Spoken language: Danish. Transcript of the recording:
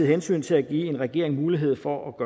hensynet til at give en regering mulighed for